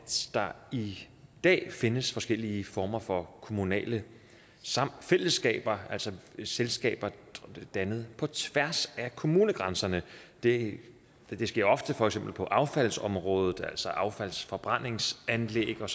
der i dag findes forskellige former for kommunale fællesskaber altså selskaber dannet på tværs af kommunegrænserne det sker ofte for eksempel på affaldsområdet altså affaldsforbrændingsanlæg og